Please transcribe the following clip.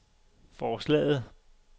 forslaget